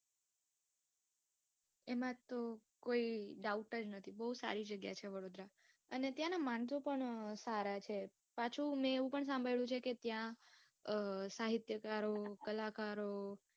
એમાં તો કોઈ Doubt જ નથી. બઉ સારી જગ્યા છે વડોદરા, અને ત્યાં ના માણસો પણ સારા છે. પાછુ મેં એવું પણ સાંભળ્યું છે ત્યાં અમ સાહિત્યકારો, કલાકારો